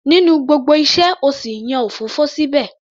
Nínú gbogbo iṣẹ́,o sì yan òfófó síbẹ̀?